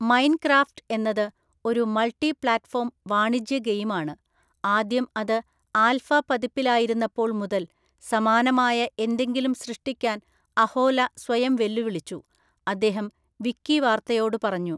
Mine craft എന്നത് ഒരു multi platform വാണിജ്യ ഗെയിമാണ്, ആദ്യം അത് ആൽഫ പതിപ്പിലായിരുന്നപ്പോൾ മുതൽ സമാനമായ എന്തെങ്കിലും സൃഷ്ടിക്കാൻ അഹോല സ്വയം വെല്ലുവിളിച്ചു, അദ്ദേഹം വിക്കിവാർത്തയോട് പറഞ്ഞു.